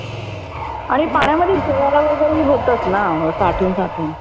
आणि पाण्यामध्ये शेवाळ वगैरे होतचना साठवून साठवून